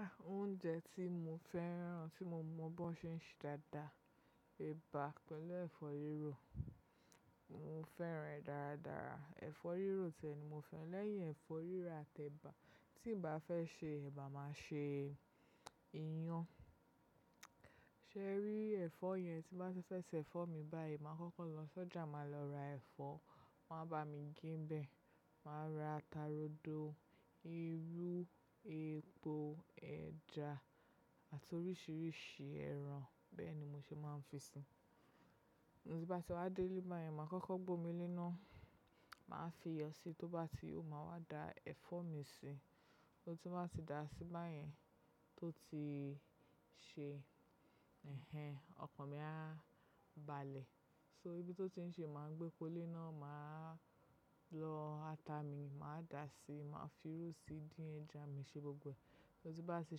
Ah! Oúnjẹ tí mo fẹ́ràn, tí mo mọ̀ bón ṣe dáadáa, ẹ̀bà pẹ̀lú ẹ̀fọ́ rírò. Mo fẹ́ràn rẹ̀ dáradára. Ẹ̀fọ́ rírò ti ẹ ni mo fẹ́ràn lẹ́yìn ẹ̀fọ́ rírà àti ẹ̀bà. Tí ì bá fẹ́ ṣe ẹ̀bà, màá ṣe iyán. Ṣé ẹ rí ẹ̀fọ́ yẹn? Tí bá ṣẹṣẹ ẹ̀fọ́ mi báyìí, màá kọ́kọ́ lọ sọ́jà, màá lọ ra ẹ̀fọ́, wọ́n máa bá mi ge n bẹ. Màá ra ata rodo, irú, epo, ẹja àti oríṣiríṣi ẹran. Bẹ́ẹ̀ ni mo ṣe máa ń fi síi. Tí bá ti wá délé báyìí, màá kọ́kọ́ gbomile náà, màá fi yọ́ síi, tó bá ti ó, màá wá da ẹ̀fọ́ mi sí. So tí bá ti da síí báyẹ́n tó ti ṣe, ẹhn, ọkọ̀n mi á balẹ̀. So ibi tó ti ń ṣe, màá gbé pole náà, màá lọ ata mi, màá da síí, màá fi ru síí, dín ẹja mi ṣe gbogbo. So tí bá ti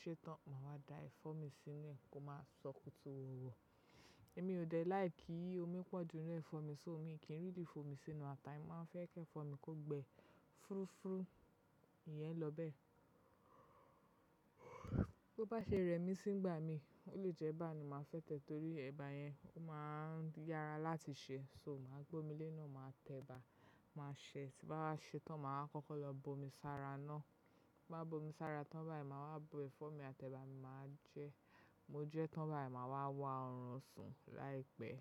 ṣe tán, màá wá da ẹ̀fọ́ mi sínú, kó máa ṣòkùtù wọ̀wọ̀. Èmi ò dẹ̀ láì kí omi pọ̀jù nínú ẹ̀fọ́ mi, so omi kí n really fò mí sínú ata mi. Màá fẹ́ kí ẹ̀fọ́ mi kó gbẹ fúrúfúrú. Iyẹn ló bẹ. Tó bá ṣe rẹ̀ mí sí nígbà mí, o lè jẹ́ ẹ̀bà ni màá fẹ́ tẹ̀, torí ẹ̀bà yẹn, ó máa ń yára láti ṣe. So màá gbomile náà, màá tẹ ẹ̀bà, màá sèé. Tí báwa ṣe tán, màá kọ́kọ́ lọ bomi sára náà. Bí bá bomi sára tán báyìí, màá wá bo ẹ̀fọ́ mi àti ẹ̀bà mi, màá jẹ. Mo jẹ́ tán báyìí, màá wá wá ọrùn sùn láìpẹ́.